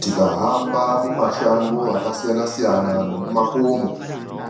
Tikahamba mumashango akasiyana-siyana nemumakomo,